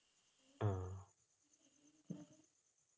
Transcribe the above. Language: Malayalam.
ആഹ്